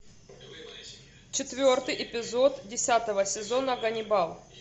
четвертый эпизод десятого сезона ганнибал